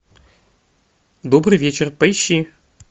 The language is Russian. добрый вечер поищи